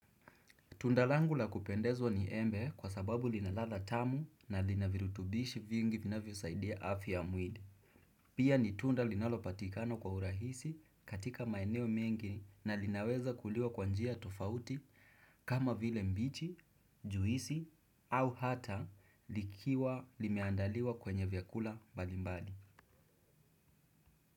Tundalangu la kupendezwa ni embe kwa sababu lina ladha tamu na lina virutubishi vingi vinavyosaidia afya ya mwili. Pia ni tunda linalopatikano kwa urahisi katika maeneo mengi na linaweza kuliwa kwa njia tofauti kama vile mbichi, juisi au hata likiwa limeandaliwa kwenye vyakula mbalimbali.